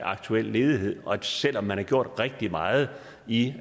aktuelle ledighed og selv om man har gjort rigtig meget i